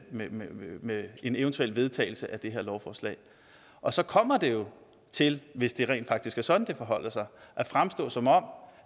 med med en eventuel vedtagelse af det her lovforslag og så kommer det jo til hvis det rent faktisk er sådan det forholder sig at fremstå som om